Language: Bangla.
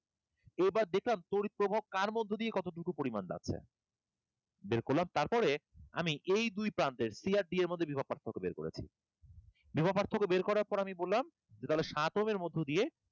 এবার দেখলাম তড়িৎ প্রবাহ কার মধ্যে দিয়ে কতটুকু পরিমাণ যাচ্ছে বের করলাম তারপরে আমি এই দুই প্রান্তের c আর d এর মধ্যে বিভব পার্থক্য বের করেছি বিভব পার্থক্য বের করার পর আমি বললাম যে তাহলে সাত ওহম এর মধ্য দিয়ে